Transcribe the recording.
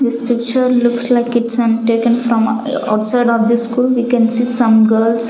This picture looks like it's taken from outside of the school we can see some girls--